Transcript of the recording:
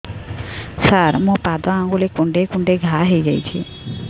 ସାର ମୋ ପାଦ ଆଙ୍ଗୁଳି କୁଣ୍ଡେଇ କୁଣ୍ଡେଇ ଘା ହେଇଯାଇଛି